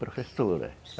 Professora.